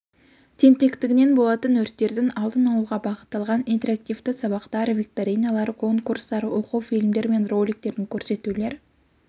тентектігінен болатын өрттердің алдын алуға бағытталған интерактивті сабақтар викториналар конкурстар оқу фильмдері мен роликтерін көрсетулер